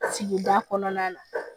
Sigida kɔnɔna na